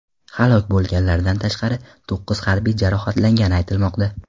Halok bo‘lganlardan tashqari, to‘qqiz harbiy jarohatlangani aytilmoqda.